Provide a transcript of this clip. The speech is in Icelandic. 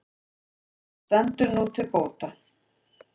Þetta stendur nú til bóta.